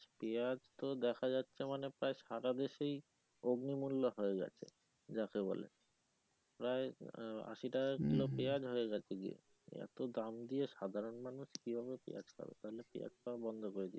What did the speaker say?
পিঁয়াজ তো দেখা যাচ্ছে মানে প্রায় সারা দেশেই অগ্নিমূল্য হয়ে যাচ্ছে যাকে বলে প্রায় আশি টাকা মূল্য পেঁয়াজ হয়ে গেছে কেজি এতো দাম দিয়ে সাধারন মানুষ কিভাবে পিঁয়াজ খাবে তাহলে পিঁয়াজ খাওয়া বন্ধ করে দিতে হবে।